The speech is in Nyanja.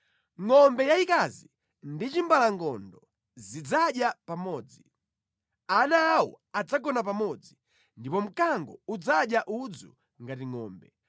Ngʼombe yayikazi ndi chimbalangondo zidzadya pamodzi, ana awo adzagona pamodzi, ndipo mkango udzadya udzu ngati ngʼombe.